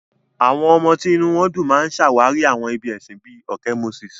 Àwọn ọmọ tí inú wọn dùn máa ń ṣàwárí àwọn ibi ẹ̀sìn bíi òkè Moses.